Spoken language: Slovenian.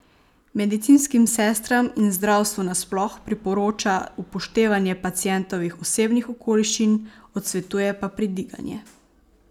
Medicinskim sestram in zdravstvu nasploh priporoča upoštevanje pacientovih osebnih okoliščin, odsvetuje pa pridiganje.